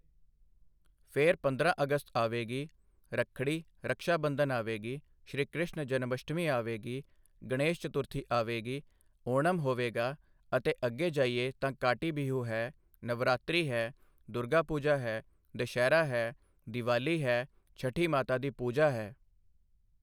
ਫਿਰ ਪੰਦਰਾਂ ਅਗਸਤ ਆਵੇਗੀ, ਰੱਖੜੀ ਰਕਸ਼ਾ ਬੰਧਨ ਆਵੇਗੀ, ਸ਼੍ਰੀਕ੍ਰਿਸ਼ਨ ਜਨਮ ਅਸ਼ਟਮੀ ਆਵੇਗੀ, ਗਣੇਸ਼ ਚਤੁਰਥੀ ਆਵੇਗੀ, ਓਣਮ ਹੋਵੇਗਾ ਅਤੇ ਅੱਗੇ ਜਾਈਏ ਤਾਂ ਕਾਟੀ ਬੀਹੂ ਹੈ, ਨਵਰਾਤ੍ਰੀ ਹੈ, ਦੁਰਗਾ ਪੂਜਾ ਹੈ, ਦਸ਼ਹਿਰਾ ਹੈ, ਦੀਵਾਲੀ ਹੈ, ਛਠੀ ਮਾਤਾ ਦੀ ਪੂਜਾ ਹੈ।